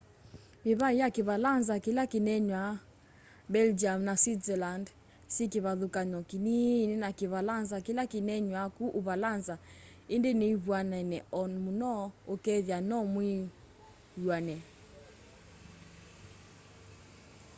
mivai ya kiivalanza kila kineenawa belgium na switzerland syi kivathukany'o kiniini na kiivalanza kila kineenawa ku uvalanza indi nivw'anene o muno ukethia no mwiw'ane